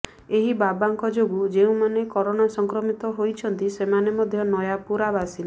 ଏହି ବାବାଙ୍କ ଯୋଗୁଁ ଯେଉଁମାନେ କରୋନା ସଂକ୍ରମିତ ହୋଇଛନ୍ତି ସେମାନେ ମଧ୍ୟ ନୟାପୁରା ବାସିନ୍ଦା